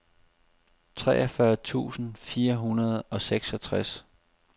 treogfyrre tusind fire hundrede og seksogtres